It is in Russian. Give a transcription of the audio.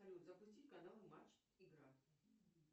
салют запусти канал матч игра